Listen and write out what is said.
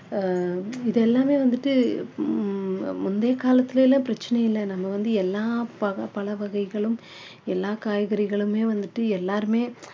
ஆஹ் இது எல்லாமே வந்துட்டு ஹம் முந்தைய காலத்துல எல்லாம் பிரச்சனை இல்ல நம்ம வந்து எல்லா பக~ பழ வகைகளும் எல்லாம் காய்கறிகளுமே வந்துட்டு எல்லாருமே